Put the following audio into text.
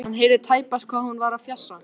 Hann heyrði tæpast hvað hún var að fjasa.